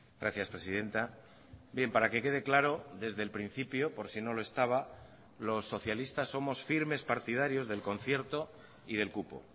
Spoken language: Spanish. gracias presidenta bien para que quede claro desde el principio por si no lo estaba los socialistas somos firmes partidarios del concierto y del cupo